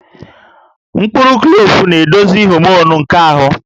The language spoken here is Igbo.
Mkpụrụ klove na-edozi homonụ nke ahụ